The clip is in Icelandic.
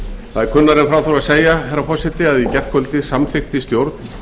það er kunnara en frá þurfi að segja að í gærkvöldi samþykkti stjórn